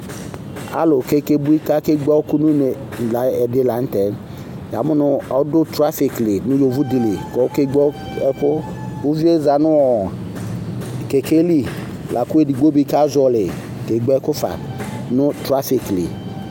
Alʋ k'ake bui k'ake bie ɛkʋ nʋ une la ɛdi la n'tɛ Yamʋ nʋ ɔdʋ trafik li nʋ yovodeli k'ɔke gbǝ ɛkʋ Uvi yɛ zã nʋ ɔɔ kɛkɛ li lakʋ edigbo di kazɔhɔli kegbǝ ɛkʋ fa nʋ trafik li